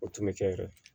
O tun bɛ kɛ yɛrɛ